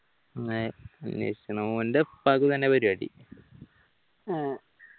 ഓന്റെ ഉപ്പാക്കും ഇതന്നെ പരിപാടി